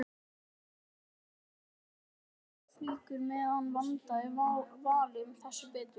Hún tók fáar flíkur með en vandaði valið þess betur.